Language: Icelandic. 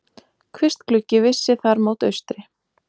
Kvistgluggi vissi þar mót austri.